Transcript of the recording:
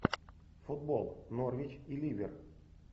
футбол норвич и ливер